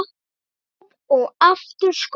Skó og aftur skó.